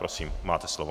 Prosím, máte slovo.